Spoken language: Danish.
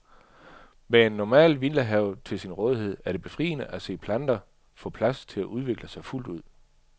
Med en normal villahave til sin rådighed er det befriende at se planter få plads til at udvikle sig fuldt ud.